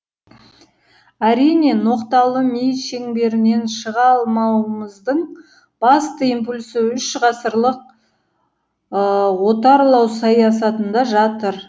әрине ноқталы ми шеңберінен шыға алмауымыздың басты импульсі үш ғасырлық отарлау саясатында жатыр